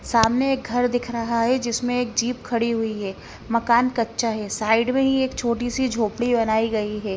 सामने एक घर दिख रहा है जिसमें एक जीप खड़ी हुई है मकान कच्चा है साइड ही एक छोटी सी झोंपड़ी बनाई गई है ।